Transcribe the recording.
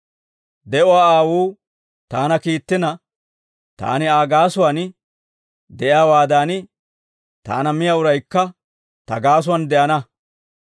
De'uwaa Aawuu taana kiittina, taani Aa gaasuwaan de'iyaawaadan, taana miyaa uraykka ta gaasuwaan de'ana.